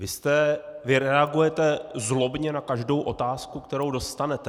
Vy reagujete zlobně na každou otázku, kterou dostanete.